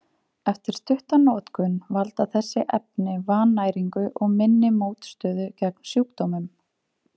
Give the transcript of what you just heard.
Eftir stutta notkun valda þessi efni vannæringu og minni mótstöðu gegn sjúkdómum.